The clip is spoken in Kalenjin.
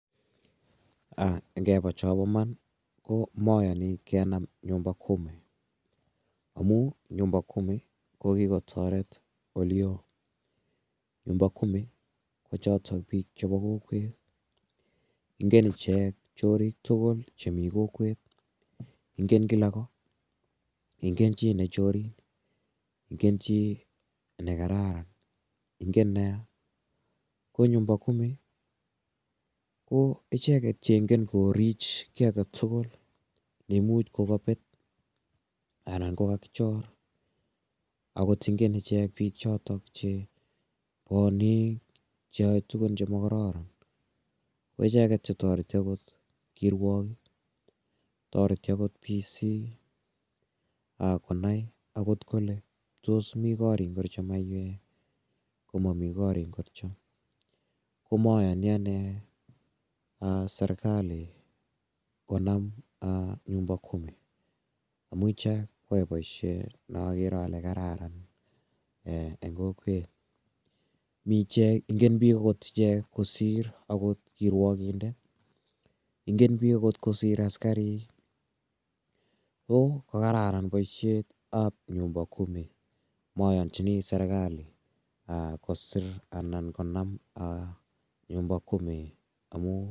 Ngepa chapa iman ko mayani kenam 'nyumba kumi' amu 'nyumba kumi' ko kikotaret ole oo. 'Nyumba kumi' ko chotok pik cheko kokwet. Ingen ichek chorik tugul chemi kokwet, ingen kila kot, ingen chi ne chorin, ingen chi ne kararan, ingen ne ya. Ko 'nyumba kumi' ko icheket che ingen korich ki age tugul ne imuch ko kapet anan ko kakichor. Agot ingen ichek piik chotok che paniik, che yae tugun che makararan. Ko icheget che tareti agot kirwokik, tareti agot PC konai agot kole tos mi korik ngircho maiwek ko mami korik ngircho. Ko mayani ane serkali konam 'nyumba kumi' amh ichek koyae poishet ne akere ale kararan eng' kokwet. Ingen agot piik ichek kosir kirwokindet. Ingen piik agot kosir askarik. Ko kararan poishet ap 'nyumba kumi' mayanchini serkali kosir anan konam 'nyumba kumi'.